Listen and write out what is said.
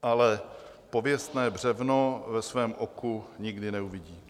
Ale pověstné břevno ve svém oku nikdy neuvidí.